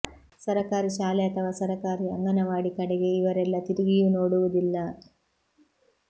ಸರಕಾರಿ ಶಾಲೆ ಅಥವಾ ಸರಕಾರಿ ಅಂಗನವಾಡಿ ಕಡೆಗೆ ಇವರೆಲ್ಲ ತಿರುಗಿಯೂ ನೋಡುವುದಿಲ್ಲ